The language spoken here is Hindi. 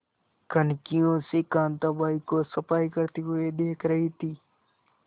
कनखियों से कांताबाई को सफाई करते हुए देख रही थी